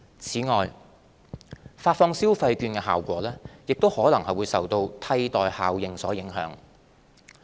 此外，發放消費券的效果亦可能受"替代效應"所影響。